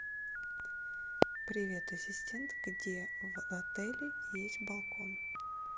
привет ассистент где в отеле есть балкон